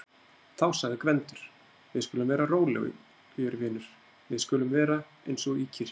Þá sagði Gvendur: Við skulum vera rólegir vinur, við skulum vera eins og í kirkju.